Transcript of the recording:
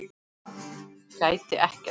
Gæti ekkert.